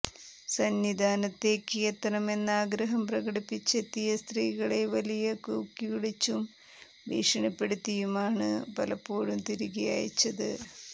സന്നിധാനത്തേയ്ക്ക് എത്തണമെന്ന ആഗ്രഹം പ്രകടിപ്പിച്ചെത്തിയ സ്ത്രീകളെ വലിയ കൂക്കിവിളിച്ചും ഭീഷണിപ്പെടുത്തിയുമാണ് പലപ്പോഴും തിരികെ അയച്ചത്